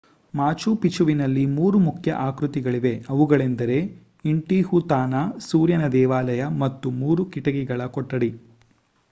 ಮಾಚು ಪಿಚುವಿನಲ್ಲಿ ಮೂರು ಮುಖ್ಯ ಆಕೃತಿಗಳಿವೆ ಅವುಗಳೆಂದರೆ ಇಂಟಿಹುತಾನಾ ಸೂರ್ಯನ ದೇವಾಲಯ ಮತ್ತು ಮೂರು ಕಿಟಕಿಗಳ ಕೊಠಡಿ